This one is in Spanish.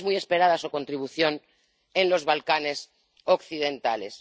También es muy esperada su contribución en los Balcanes Occidentales.